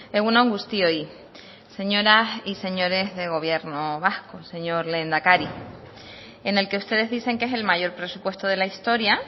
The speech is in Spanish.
egun on guztioi señoras y señores de gobierno vasco señor lehendakari en el que ustedes dicen que es el mayor presupuesto de la historia